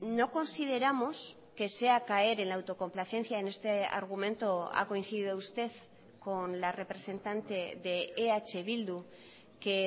no consideramos que sea caer en la autocomplacencia en este argumento ha coincidido usted con la representante de eh bildu que